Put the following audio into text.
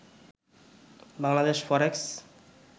Bangladesh ফরেক্স